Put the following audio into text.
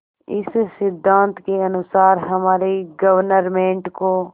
इस सिद्धांत के अनुसार हमारी गवर्नमेंट को